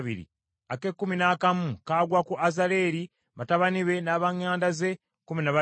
ak’ekkumi noobubiri kagwa ku Kasabiya, batabani be n’ab’eŋŋanda ze, kkumi na babiri;